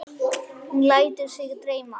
Hún lætur sig dreyma.